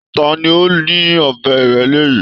Ta ni ó ni ọbẹ ìrẹ́lé yìí